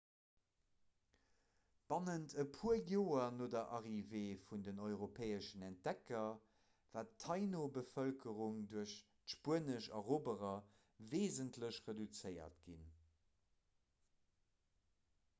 bannent e puer joer no der arrivée vun den europäeschen entdecker war d'taíno-bevëlkerung duerch d'spuenesch eroberer weesentlech reduzéiert ginn